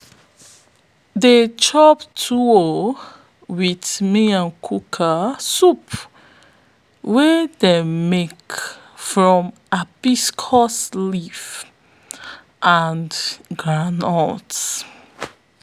dey chop tuwo with miyan yakuwa soup wey dem make from hibiscus leaf and groundnut.